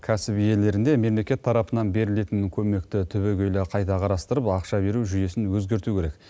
кәсіп иелеріне мемлекет тарапынан берілетін көмекті түбегейлі қайта қарастырып ақша беру жүйесін өзгерту керек